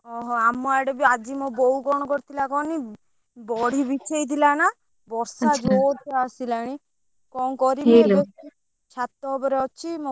ଓହୋ! ଆମ ଆଡେ ବି ଆଜି ମୋ ବୋଉ କଣ କରିଥିଲା କହନି ବଡି ବିଛେଇଥିଲା ନା ବର୍ଷା ଜୋରସେ ଆସିଲାଣି କଣ କରିବି ଛାତ ଉପରେ ଅଛି ମୋ ବୋଉ ମନ ଦୁଖ ଭାରି,